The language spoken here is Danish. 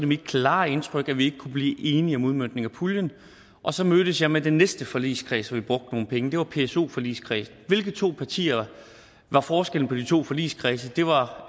mit klare indtryk at vi ikke kunne blive enige om udmøntningen af puljen og så mødtes jeg med den næste forligskreds hvor vi brugte nogle penge det var pso forligskredsen hvilke to partier var forskellen på de to forligskredse det var